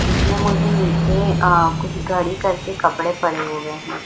इसमें मुझे नीचे अ कुछ घड़ी करके कपड़े पड़े हुवे हैं।